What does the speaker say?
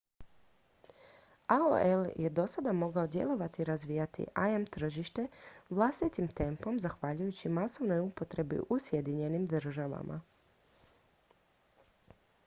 aol je do sada mogao djelovati i razvijati im tržište vlastitim tempom zahvaljujući masovnoj upotrebi u sjedinjenim državama